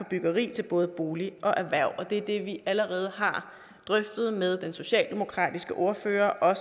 byggeri til både bolig og erhverv og det er det vi allerede har drøftet med den socialdemokratiske ordfører og